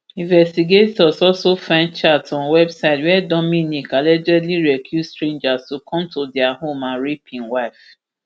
investigators also find chats on website wia dominique p allegedly recruit strangers to come to dia home and rape im wife